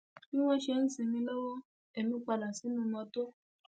bí wọn ṣe ń sinmi lọwọ ẹmí padà sínú mọtò